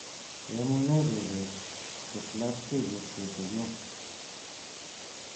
Yamunee chebet tes labkeyet kitingin